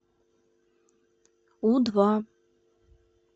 у два